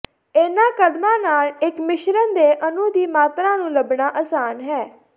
ਇਨ੍ਹਾਂ ਕਦਮਾਂ ਨਾਲ ਇੱਕ ਮਿਸ਼ਰਣ ਦੇ ਅਣੂ ਦੀ ਮਾਤਰਾ ਨੂੰ ਲੱਭਣਾ ਆਸਾਨ ਹੈ